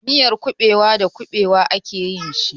Miyan kuɓewa da kuɓewa a ke yin shi.